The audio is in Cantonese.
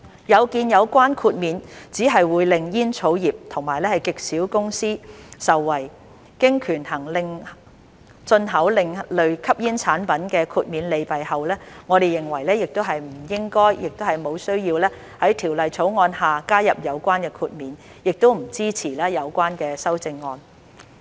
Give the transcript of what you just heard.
有見有關豁免只會令煙草業及極少數公司受惠，經權衡進口另類吸煙產品豁免的利弊後，我們認為不應該，亦無需要在《條例草案》下加入有關豁免，亦不支持有關修正案。